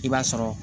I b'a sɔrɔ